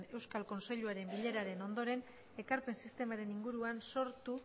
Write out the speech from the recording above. euskal kontseiluaren bileraren ondoren ekarpen sistemaren inguruan sortu